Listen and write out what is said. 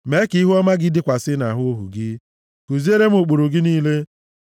Mee ka ihuọma gị dịkwasị nʼahụ ohu gị. Kuziere m ụkpụrụ gị niile.